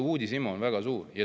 Uudishimu on väga suur.